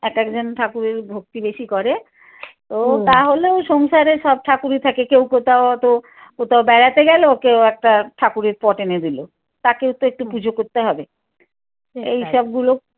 এক এ জন ঠাকুরের ভক্তি বেশি করে তো তাহলেও সংসারে সব ঠাকুরই থাকে কেউ কেউ তা অত কোথাও বেড়াতে গেল কেউ একটা ঠাকুরের পট এনে দিল। তাকেও তো একটু পুজো করতে হবে এইসবগুলো